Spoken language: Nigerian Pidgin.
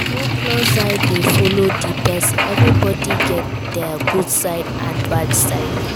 No close eye de follow di persin everybody get their good side and bad side